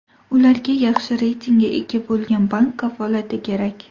Ularga yaxshi reytingga ega bo‘lgan bank kafolati kerak.